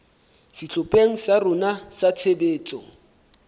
sehlopheng sa rona sa tshebetso